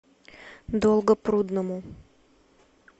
долгопрудному